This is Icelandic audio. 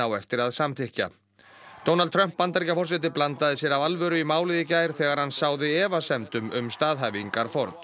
eftir að samþykkja Trump Bandaríkjaforseti blandaði sér af alvöru í málið í gær þegar hann sáði efasemdum um staðhæfingar Ford